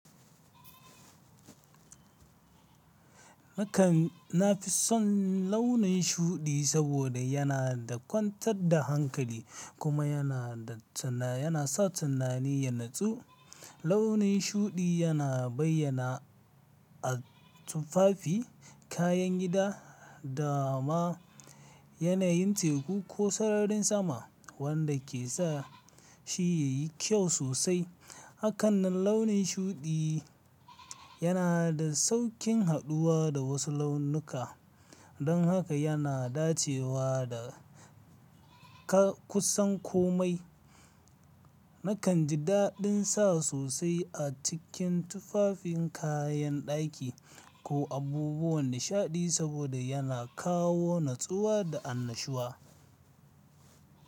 Nakan nafi son launin shuɗi saboda yana da kwantar da hankali kuma yana da tuna yana sa tunani ya natsu. Launin shuɗi yana bayyana a tufafi, kayan gida da ma yanayin teku ko sararin sama wanda ke sa shi ya yi kyau sosai. A kan nan launin shuɗi yana da sauƙin haɗuwa da wasu launuka, don haka yana dacewa da ka-kusan komai. Nakan ji daɗin sa sosai a cikin tufafin kayan ɗaki ko abubuwan nishaɗi saboda yana kawo natsuwa da annashuwa.